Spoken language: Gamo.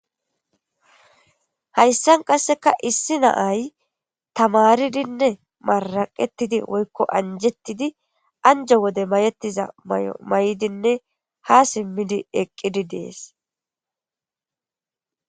Hayssan qasseka issi naay tamaridinne maraqetidi woykko anjettidi anjo wode mayettiza may'o may'dinne ha simmidi eqqidi dees.